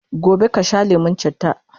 gobe kasha lemun chitta!